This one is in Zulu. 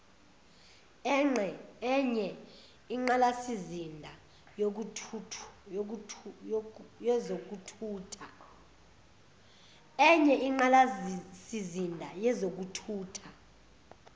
enye inqalasizinda yezokuthutha